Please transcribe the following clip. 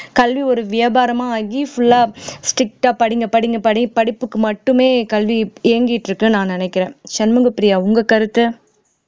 கல்வி ஒரு வியாபாரமா ஆகி full ஆ strict ஆ strict ஆ படிங்க படிங்க படி படிப்புக்கு மட்டுமே கல்வி இயங்கிட்டு இருக்குன்னு நான் நினைக்கிறேன் சண்முகப்பிரியா உங்க கருத்து